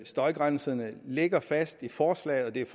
støjgrænserne ligger fast i forslaget og det er